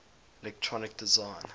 electronic design